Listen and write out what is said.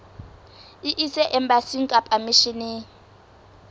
e ise embasing kapa misheneng